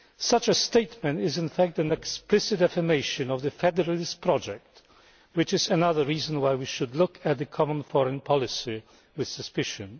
Such a statement is, in fact, an explicit affirmation of the federalist project, which is another reason why we should look at the Common Foreign Policy with suspicion.